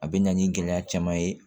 A bɛ na ni gɛlɛya caman ye